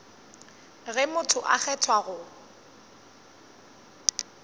ge motho a kgethwa go